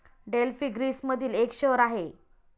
Delphi ग्रीसमधिल एक शहर आहे.